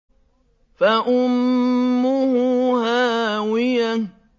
فَأُمُّهُ هَاوِيَةٌ